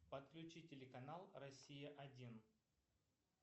подключи телеканал россия один